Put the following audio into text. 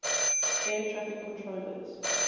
air traffic controllers